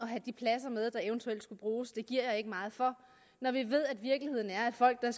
have de pladser med der eventuelt skal bruges giver jeg ikke meget for når vi ved at virkeligheden er at folk der